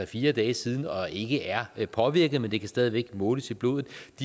fire dage siden og ikke er påvirket men det kan stadig væk måles i blodet